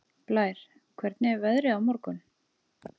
Blær, hvernig er veðrið á morgun?